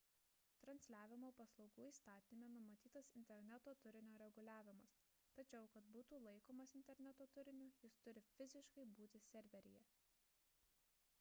transliavimo paslaugų įstatyme numatytas interneto turinio reguliavimas tačiau kad būtų laikomas interneto turiniu jis turi fiziškai būti serveryje